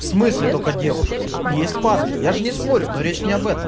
в смысле только девушки есть парни я же не спорю но речь не об этом